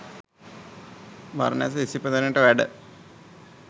බරණැස ඉසිපතනයට වැඩ,